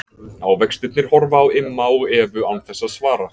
Ávextirnir horfa á Imma og Evu án þess að svara.